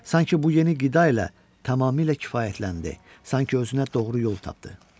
Sanki bu yeni qida ilə tamamilə kifayətləndi, sanki özünə doğru yol tapdı.